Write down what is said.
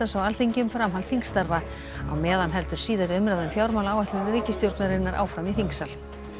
á Alþingi um framhald þingstarfa á meðan heldur síðari umræða um fjármálaáætlun ríkisstjórnarinnar áfram í þingsal